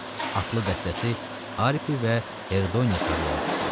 Atlı dəstəsi Aripi və Herdoniya sarı yola düşdü.